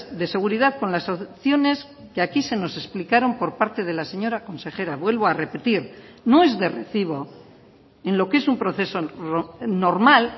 de seguridad con las soluciones que aquí se nos explicaron por parte de la señora consejera vuelvo a repetir no es de recibo en lo que es un proceso normal